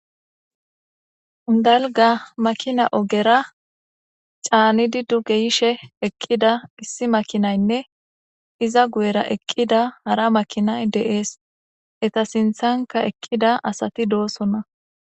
Dalga makina ogera caanidi duge yishe eqqida issi makinaynne iza guyera eqqida hara makinay deees eta sinthanka eqqida asati doosonna.